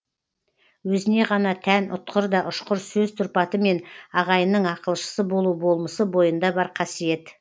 өзіне ғана тән ұтқыр да ұшқыр сөз тұрпаты мен ағайынның ақылшысы болу болмысы бойында бар қасиет